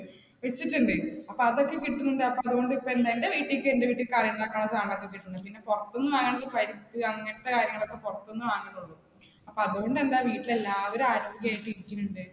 വെച്ചിട്ടുണ്ട് അപ്പാ അതൊക്കെ കിട്ടുന്നുണ്ട് അത് കൊണ്ട് ഇപ്പ എന്താ എന്റെ വീട്ടിലേക്ക്, എന്റെ വീട്ടിൽ കറി ഉണ്ടാക്കാൻ ഉള്ള സാധനമോക്കെ കിട്ടുന്നുണ്ട്. പിന്നെ പുറത്തു വേണെങ്കിൽ പരിപ്പ് അങ്ങനത്തെ കാര്യങ്ങളൊക്കെ പുറത്തുനിന്ന് വാങ്ങുന്നുള്ളൂ. അപ്പ അതുകൊണ്ട് എന്താ വീട്ടിൽ എല്ലാവരും ആരോഗ്യമായിട്ട് ഇരിക്കുന്നുണ്ട്.